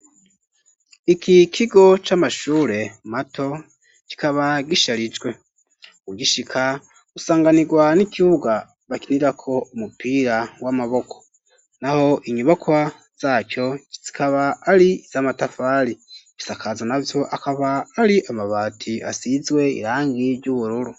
Iki kigo c'amashure mato kikaba gisharijwe ugishika usanganirwa n'ikibuga bakinirako umupira w'amaboko naho inyubaka zacyo kitsikaba ari z'amatafari, ibisakazo navyo akaba ari amabati asizwe irangi ry'ubururu.